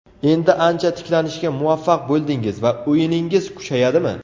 Endi ancha tiklanishga muvaffaq bo‘ldingiz va o‘yiningiz kuchayadimi?